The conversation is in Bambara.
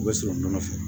U bɛ sɔrɔ nɔnɔ fɛ